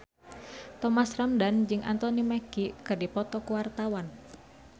Thomas Ramdhan jeung Anthony Mackie keur dipoto ku wartawan